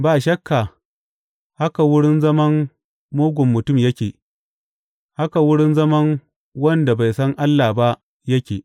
Ba shakka haka wurin zaman mugun mutum yake, haka wurin zaman wanda bai san Allah ba yake.